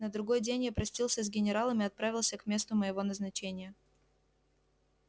на другой день я простился с генералом и отправился к месту моего назначения